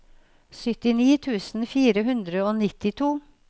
syttini tusen fire hundre og nittito